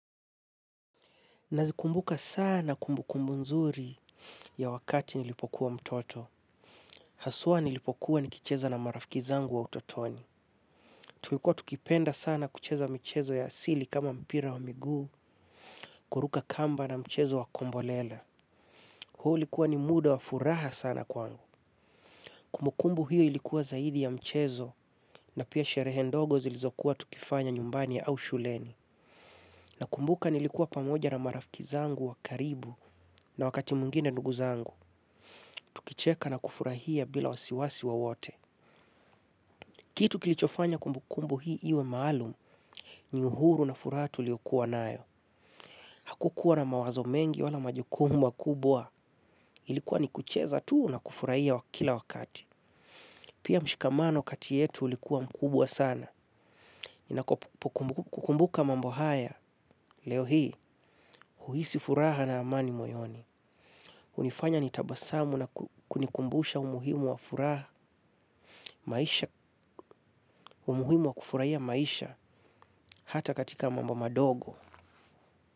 Nazikumbuka sana kumbu kumbu nzuri ya wakati nilipokuwa mtoto. Hasua nilipokuwa nikicheza na marafiki zangu wa utotoni. Tulikuwa tukipenda sana kucheza mchezo ya asili kama mpira wa migu, kuruka kamba na mchezo wa kombolela. Huu likuwa ni muda wa furaha sana kwangu. Kumbukumbu hiyo ilikuwa zaidi ya mchezo na pia sherehe ndogo zilizokuwa tukifanya nyumbani ya au shuleni. Na kumbuka nilikuwa pamoja na marafkizangu wa karibu na wakati mungine ndugu zangu. Kucheka na kufurahia bila wasiwasi wo wote. Kitu kilichofanya kumbukumbu hii iwe maalumu ni uhuru na furatu tuliyokuwa nayo. Hakukuwa na mawazo mengi wala majukumu ma kubwa. Ilikuwa ni kucheza tuu na kufurahia kila wakati. Pia mshikamano katietu ulikuwa mkubwa sana. Kukumbuka mambo haya leo hii uhisi furaha na amani moyoni. Unifanya nitabasamu na kunikumbusha umuhimu wa furaha maisha. Umuhimu wa kufurahia maisha hata katika mambo madogo.